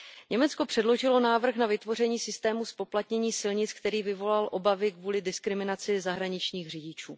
Německo předložilo návrh na vytvoření systému zpoplatnění silnic, který vyvolal obavy kvůli diskriminaci zahraničních řidičů.